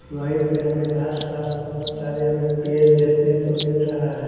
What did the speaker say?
वहीं पे हमें आसपास बहुत सारे हमें पेड़ देखने को मिल रहा है।